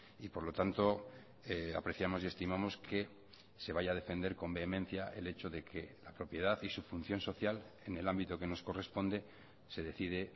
y por lo tanto apreciamos y estimamos que se vaya a defender con vehemencia el hecho de que la propiedad y su función social en el ámbito que nos corresponde se decide